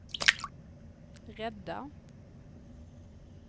rädda